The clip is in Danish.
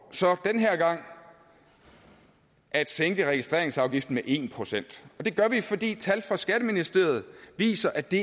så den her gang at sænke registreringsafgiften med en procent det gør vi fordi tal fra skatteministeriet viser at det